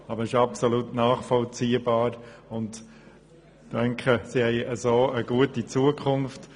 Aber das ist absolut nachvollziehbar, und ich denke, so hat diese Gemeinde eine gute Zukunft.